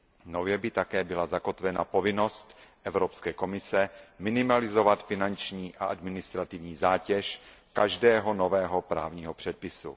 Nově by také byla zakotvena povinnost Evropské komise minimalizovat finanční a administrativní zátěž každého nového právního předpisu.